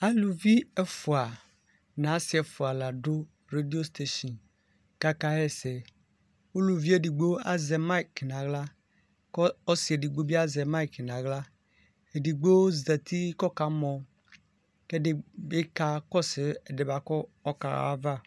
alʋvi ɛƒʋa nʋ asii ɛƒʋa ladʋ radio station kʋ aka yɛsɛ, ʋlʋviɛ ɛdigbɔ azɛ mic nʋ ala kʋ ɔsiiɛ ɛdigbɔ bi azɛ mic nʋ ala, ɛdigbɔ zati kʋ ɔka mɔ kʋ ɛdibi kakɔsʋ ɛdiɛ kʋ ɔkaha aɣa